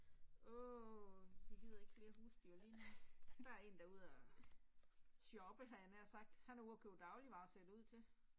Åh jeg gider ikke flere husdyr lige nu. Der er en der er ude og shoppe havde jeg nær sagt, han er ude og købe dagligvarer ser det ud til